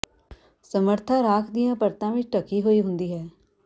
ਸਮਰੱਥਾ ਰਾਖ ਦੀਆਂ ਪਰਤਾਂ ਵਿਚ ਢਕੀ ਹੋਈ ਹੁੰਦੀ ਹੈ